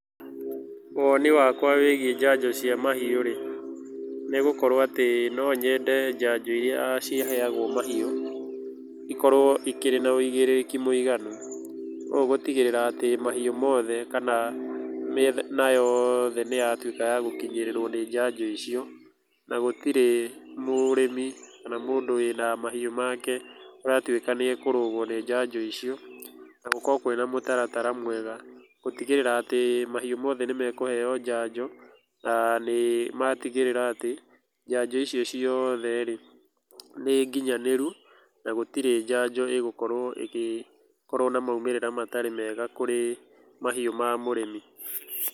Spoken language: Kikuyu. Woni wakwa wĩigie njanjo cia mahiũ rĩ, nĩ gũkorwo atĩ no nyende njanjo iria iheagwo mahiũ, ikorwo ikĩrĩ na woigĩrĩki mũiganu ũũ gũtigĩrĩra atĩ mahiũ mothe kana mĩena yothe nĩ yatuĩka gũkinyĩrĩrwo nĩ njanjo icio na gũtirĩ mũrĩmi kana mũndũ wĩna mahiũ make ũratuĩka nĩakũrũgwo nĩ njanjo icio na gũkorwo kwĩna mũtaratara mwega, gũtugĩrĩra atĩ mahiũ mothe nĩmekũheo njanjo na nĩ matigĩrĩra atĩ njanjo icio ciothe rĩ nĩ nginyanĩru, na gũtirĩ njanjo ĩgũkorwo ĩgĩkorwo na maũmĩrĩra matarĩ mega kũrĩ mahiũ ma mũrĩmi.